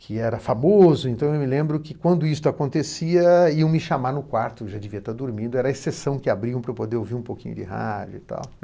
que era famoso, então eu me lembro que, quando isto acontecia, iam me chamar no quarto, eu já devia estar dormindo, era a exceção que abriam para eu poder ouvir um pouquinho de rádio e tal.